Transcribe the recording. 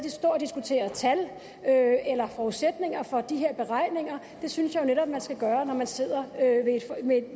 at stå og diskutere tal eller forudsætninger for de her beregninger det synes jeg netop man skal gøre når man sidder ved